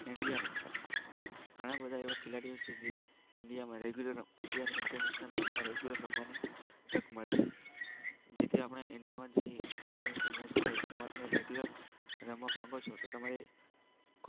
ઈન્ડિયામાં ઘણા બધા એવા ખેલાડીઓ છે જે ઈન્ડિયામાં રેગ્યુલર ઈન્ડિયાની ઈન્ટરનેશનલ મેચ રમવાની તક મળે છે. જેથી આપણા ઈન્ડિયામાં જે ઈન્ટરનેશનલ મેચ થઈ તે રેગ્યુલર રમવા માગો છો તો તમારે